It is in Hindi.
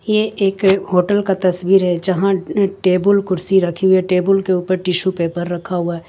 ये एक होटल का तस्वीर है जहां टेबुल कुर्सी रखी हुई है टेबुल के ऊपर टिशू पेपर रखा हुआ है।